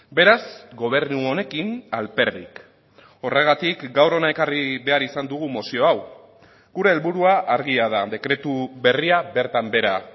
beraz gobernu honekin alperrik horregatik gaur hona ekarri behar izan dugu mozio hau gure helburua argia da dekretu berria bertan behera